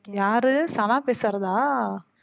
யாரு சனா பேசுறதா?